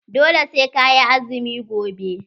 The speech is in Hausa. Dole sai ka yi azumi gobe.